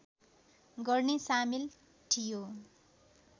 गर्ने सामेल थियो